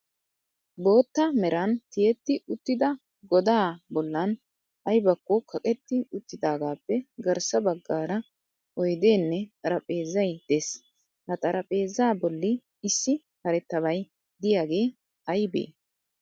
Bootta meran tiyetti uttida godaa bollan ayibakko kaqetti uttidaagaappe garssa baggaara oyideenne xarapheezay des.ha xarapheeza bolli issi karettabay diyagee ayibee?